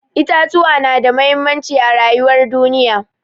Itatuwa na da muhimmanci a rayuwar duniya.